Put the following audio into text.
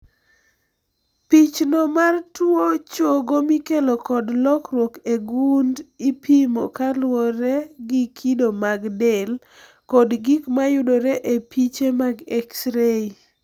Pichno mar tuo chogo mikelo kod lokruok e gund ipimo kaluwore gi kido mag del kod gik mayudore e piche mag X ray.